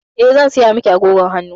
Eh, zan saya miki agogon hannu.